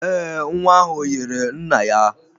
Ee, nwa ahụ yiri nna ya.